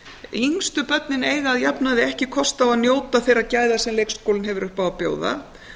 yngstu börnin eiga að jafnaði ekki kosta á að njóta þeirra gæða sem leikskólinn hefur upp á að bjóða